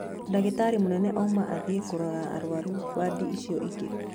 Ndagĩtarĩ mũnene auma athiĩ kũrora arwaru wadi icio ingĩ